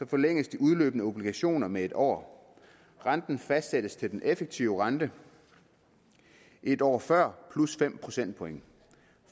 forlænges de udløbne obligationer med en år renten fastsættes til den effektive rente en år før plus fem procentpoint